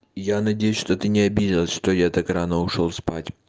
я надеюсь что ты не обиделась что я так рано ушёл спать